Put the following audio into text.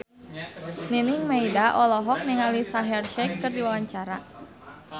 Nining Meida olohok ningali Shaheer Sheikh keur diwawancara